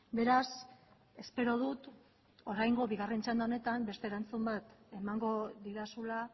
beraz espero dut oraingo bigarren txanda honetan beste erantzun bat emango didazula